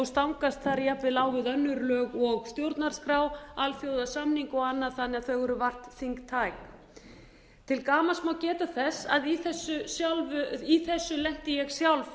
stangast þar jafnvel á við önnur lög og stjórnarskrá alþjóðasamninga og annað þannig að þau eru vart þingtæk til gamans má geta þess að í þessu lenti ég sjálf